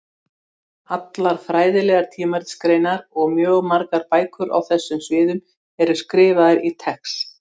Allar fræðilegar tímaritsgreinar og mjög margar bækur á þessum sviðum eru skrifaðar í TeX.